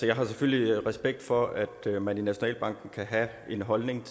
jeg har selvfølgelig respekt for at man i nationalbanken kan have en holdning